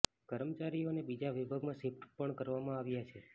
કર્મચારીઓને બીજા વિભાગમાં શિફ્ટ પણ કરવામાં આવ્યા છે